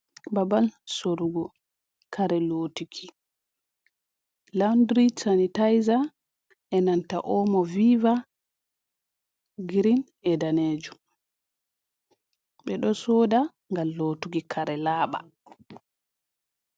Babal sorugo kare lotuki laundri sanitaiza, e nanta Omo Viva, grin e danejum. Ɓe ɗo soda ngam lotuki kare laaɓa.